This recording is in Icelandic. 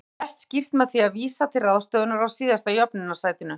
Þetta verður best skýrt með því að vísa til ráðstöfunar á síðasta jöfnunarsætinu.